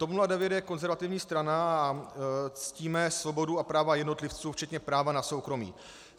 TOP 09 je konzervativní strana a ctíme svobodu a práva jednotlivců, včetně práva na soukromí.